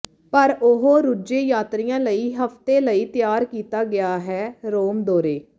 ਪਰ ਉਹ ਰੁੱਝੇ ਯਾਤਰੀਆ ਲਈ ਹਫਤੇ ਲਈ ਤਿਆਰ ਕੀਤਾ ਗਿਆ ਹੈ ਰੋਮ ਦੌਰੇ